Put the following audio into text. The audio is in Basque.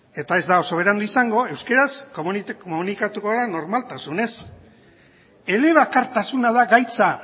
eta ez da oso berandu izango euskeraz komunikatuko da normaltasunez elebakartasuna da gaitza